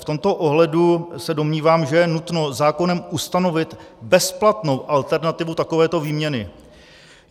V tomto ohledu se domnívám, že je nutno zákonem ustanovit bezplatnou alternativu takovéto výměny.